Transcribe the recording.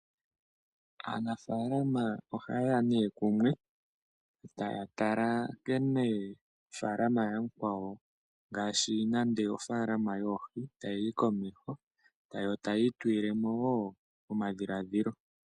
Aanafaalama oha yeya nee kumwe taya tala nkene ofaalama yamukwawo ngaashi nande ofaalama yoohi ta yiyi komeho yo taya itulilemo woo omadhilaadhilo.